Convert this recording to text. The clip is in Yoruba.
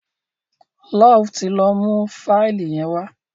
Love tí ló mú Fáìlì yen wá